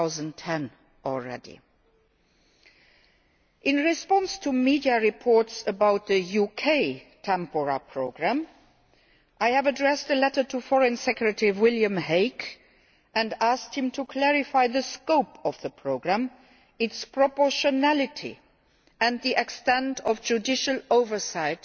2010. In response to media reports about the UK Tempora Programme, I have addressed a letter to Foreign Secretary William Hague and asked him to clarify the scope of the programme, its proportionality and the extent of judicial oversight